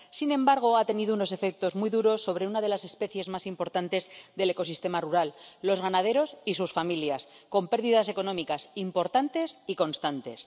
Sin embargo, ha tenido unos efectos muy duros sobre una de las especies más importantes del ecosistema rural los ganaderos y sus familias, con pérdidas económicas importantes y constantes.